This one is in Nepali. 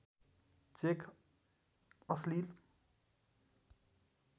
चेक अश्लिल